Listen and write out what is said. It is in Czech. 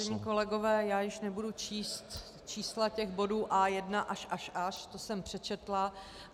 Vážení kolegové, již nebudu číst čísla těch bodů A1 až až až, to jsem přečetla.